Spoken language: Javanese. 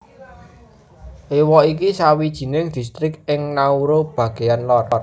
Ewa iku sawijining distrik ing Nauru bagéan lor